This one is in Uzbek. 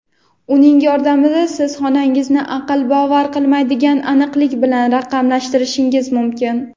Uning yordamida siz xonangizni aql bovar qilmaydigan aniqlik bilan raqamlashtirishingiz mumkin.